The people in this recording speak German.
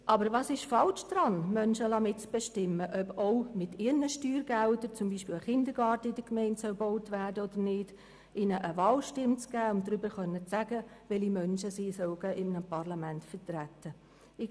Aber was ist falsch daran, Menschen mitbestimmen zu lassen, ob auch mit ihren Steuergeldern beispielsweise ein Kindergarten in ihrer Gemeinde gebaut werden soll oder nicht, oder ihnen eine Wahlstimme zu geben, mit der sie sagen können, welche Menschen sie in einem Parlament vertreten sollen?